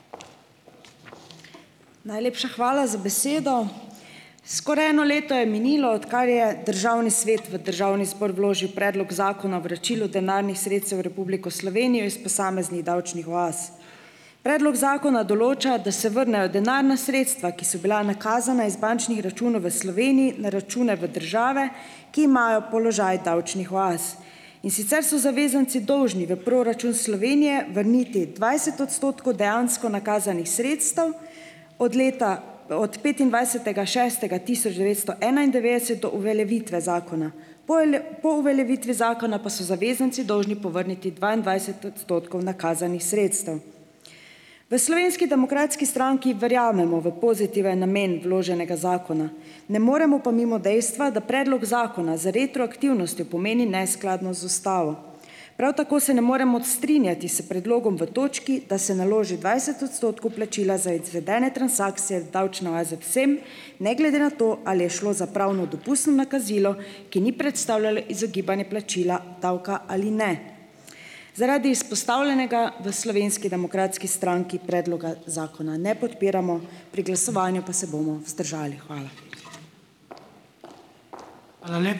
Najlepša hvala za besedo. Skoraj eno leto je minilo, odkar je državni svet v državni zbor vložil predlog zakona vračilu denarnih sredstev v Republiko Slovenijo iz posameznih davčnih oaz. Predlog zakona določa, da se vrnejo denarna sredstva, ki so bila nakazana iz bančnih računov v Sloveniji, na račune v države, ki imajo položaj davčnih oaz. In sicer so zavezanci dolžni v proračun Slovenije vrniti dvajset odstotkov dejansko nakazanih sredstev od leta od petindvajsetega šestega tisoč devetsto enaindevetdeset do uveljavitve zakona. Po Po uveljavitvi zakona pa so zavezanci dolžni povrniti dvaindvajset odstotkov nakazanih sredstev. V Slovenski demokratski stranki verjamemo v pozitiven namen vloženega zakona, ne moremo pa mimo dejstva, da predlog zakona z retroaktivnostjo pomeni neskladnost z ustavo. Prav tako se ne moremo strinjati s predlogom v točki, da se naloži dvajset odstotkov plačila za izvedene transakcije v davčne oaze vsem, ne glede na to, ali je šlo za pravno dopustno nakazilo, ki ni predstavljalo izogibanje plačila davka, ali ne. Zaradi izpostavljenega v Slovenski demokratski stranki predloga zakona ne podpiramo, pri glasovanju pa se bomo vzdržali. Hvala.